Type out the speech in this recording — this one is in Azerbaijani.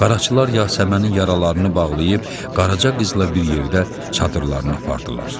Qaraçılar Yasəmənin yaralarını bağlayıb Qaraca qızla bir yerdə çadırlarına apardılar.